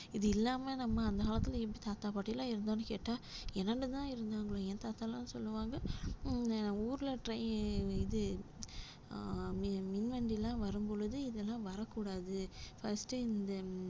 இது இல்லாம நம்ம அந்த காலத்துல எப்படி தாத்தா பாட்டி எல்லாம் இருந்தோம்ன்னு கேட்டா இருந்தாங்களே என் தாத்தா எல்லாம் சொல்லுவாங்க அஹ் ஊர்ல trai~ இது அஹ் மின் மின் வண்டி எல்லாம் வரும் பொழுது இதெல்லாம் வரக் கூடாது first இந்த